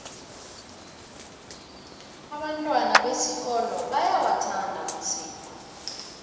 abantwana besikolo bayawathanda amasiko